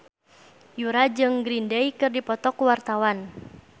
Yura jeung Green Day keur dipoto ku wartawan